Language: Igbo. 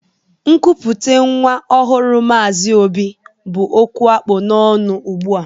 Nkupute nwa ọhụrụ Mazi Obi bụ okwu akpu n'ọnụ ụgbụa